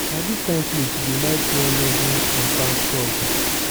na this kin cloth you dey like wear leggings and tank top.